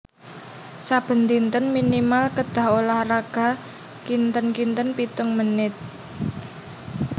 Saben dinten minimal kedah olahraga kinten kinten pitung menit